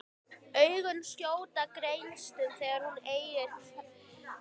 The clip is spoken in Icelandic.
Augun skjóta gneistum þegar hún eygir hvergi undankomuleið.